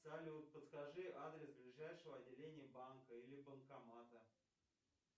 салют подскажи адрес ближайшего отделения банка или банкомата